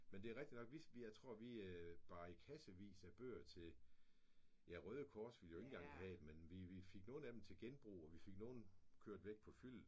Men det rigtigt nok vi vi jeg tror vi bar kassevis af bøger til ja Røde Kors ville jo ikke engang have dem men vi vi fik nogen til genbrug og vi fik nogen kørt væk på fyldet